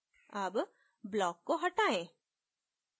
अब block को हटायें